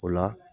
O la